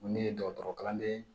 Ko ne ye dɔgɔtɔrɔkalanden ye